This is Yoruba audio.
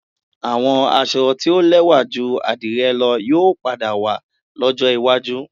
Àwọn aṣọ tí ó lẹ́wà ju àdìrẹ lọ yóò padà wà lọ́jọ́ iwájú